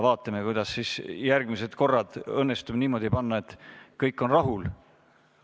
Vaatame, kas järgmised korrad õnnestub küsijad niimoodi järjekorda panna, et kõik on rahul.